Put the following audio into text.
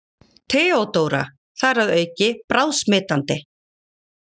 THEODÓRA: Þar að auki bráðsmitandi!